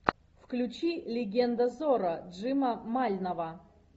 включи легенда зорро джима мальнова